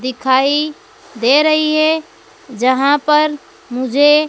दिखाई दे रही है जहां पर मुझे--